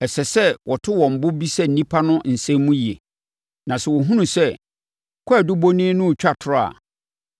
Ɛsɛ sɛ wɔto wɔn bo bisa nnipa no nsɛm mu yie. Na sɛ wɔhunu sɛ kwaadubɔni no retwa atorɔ a,